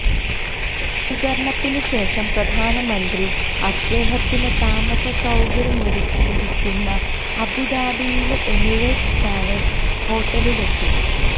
സ്വീകരണത്തിനുശേഷം പ്രധാനമന്ത്രി അദ്ദേഹത്തിന് താമസ സൌകര്യമൊരുക്കിയിരിക്കുന്ന അബുദാബിയിലെ എമിറേറ്റ്സ് പാലസ് ഹോട്ടലിലെത്തി